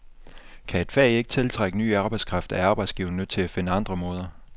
Kan et fag ikke tiltrække ny arbejdskraft, er arbejdsgiverne nødt til at finde andre måder.